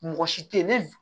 Mɔgɔ si tɛ ye ne